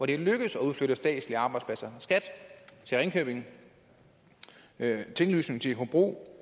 det er lykkedes at udflytte statslige arbejdspladser skat til ringkøbing tinglysning til hobro